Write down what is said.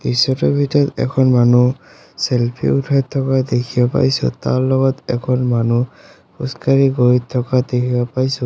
দৃশ্যটোৰ ভিতৰত এখন মানু্হ চেলফি উঠাই থকা দেখিব পাইছোঁ তাৰ লগত এখন মানু্হ খোজ কাঢ়ি গৈ থকা দেখিব পাইছোঁ।